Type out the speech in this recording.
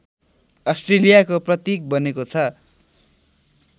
अस्ट्रेलियाको प्रतीक बनेको छ